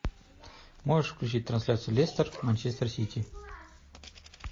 можешь включить трансляцию лестер манчестер сити